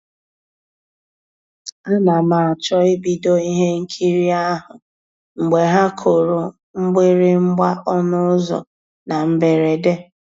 A na m àchọ́ ìbìdó ihe nkírí ahụ́ mgbe ha kùrù mgbị̀rị̀gbà ọnụ́ ụ́zọ́ na mbèredè.